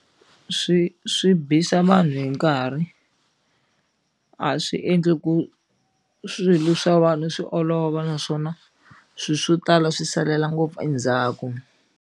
Swi swi bisa vanhu hi nkarhi a swi endli ku swilo swa vanhu swi olova naswona swilo swo tala swi salele ngopfu endzhaku.